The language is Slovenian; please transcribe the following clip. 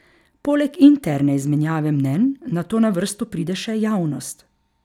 Poleg interne izmenjave mnenj nato na vrsto pride še javnost.